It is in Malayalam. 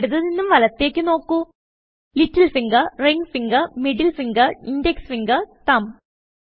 ഇടത് നിന്നും വലത്തേക്ക് നോക്കു little finger ring finger middle finger index finger തുമ്പ്